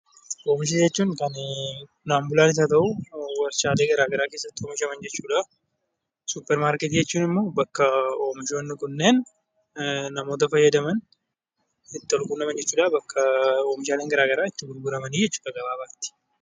Omisha jechuun Qonnaan bulaanis haa ta'uu, warshaalee gara garaa keessatti oomishaman jechuu dha. Suupparmarkeetii jechuun immoo bakka oomishoonni kunneen namoota fayyadaman itti wal-quunnaman jechuu dha, oomishaaleen gara garaa itti gurguramani jechuu dha gabaabaatti.